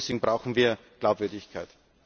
Deswegen brauchen wir Glaubwürdigkeit.